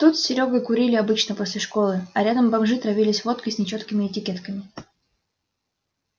тут с серёгой курили обычно после школы а рядом бомжи травились водкой с нечёткими этикетками